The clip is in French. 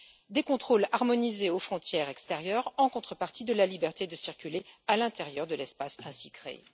des contrôles harmonisés aux frontières extérieures en contrepartie de la liberté de circuler à l'intérieur de l'espace ainsi créé.